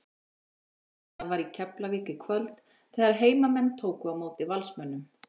Sól og blíða var í Keflavík í kvöld þegar heimamenn tóku á móti Valsmönnum.